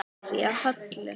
Hverja holu.